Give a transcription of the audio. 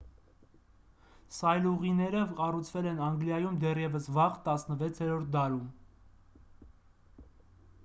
սայլուղիները կառուցվել են անգլիայում դեռևս վաղ 16-րդ դարում